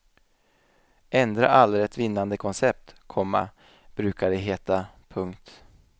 Ändra aldrig ett vinnande koncept, komma brukar det heta. punkt